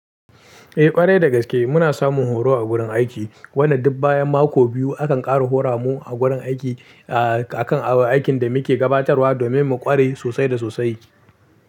Eh ƙwarai da gaske muna samun horo a gurin aiki. Wannan duk bayan mako biyu akan ƙara hora mu a gurin aiki, ah akan abin aikin da muke gabatarwa domin mu ƙware sosai da sosai.